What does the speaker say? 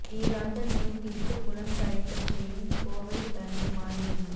தீராத நோய் தீர்த்து குலம் தழைக்கச் செய்யும் கோவை தண்டு மாரியம்மன்